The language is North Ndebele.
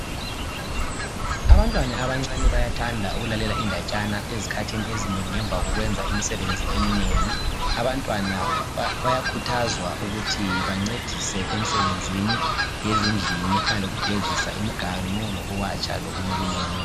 Abantwana abancane bayathanda ukulalela indatshana ezikhathini ezinengi ngemva kokwenza imisebenzi eminengi. Bayakhuthazwa ukuthi bancedise emsebenzini yezindlini efana lokugezisa imiganu, lokuwatsha, lokunye okunenginengi.